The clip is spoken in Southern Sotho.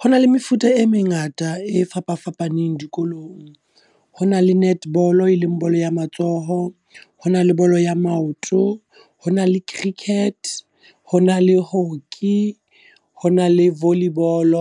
Ho na le mefuta e mengata e fapafapaneng dikolong. Ho na le netball e leng bolo ya matsoho, ho na le bolo ya maoto, ho na le cricket, ho na le hockey, ho na le volley ball.